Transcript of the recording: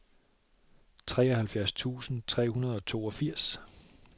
treoghalvfjerds tusind tre hundrede og toogfirs